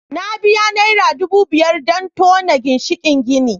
Na biya Naira dubu biyar don tona ginshikin gini